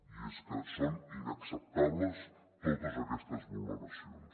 i és que són inacceptables totes aquestes vulneracions